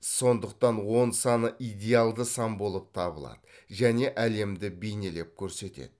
сондықтан он саны идеалды сан болып табылады және әлемді бейнелеп көрсетеді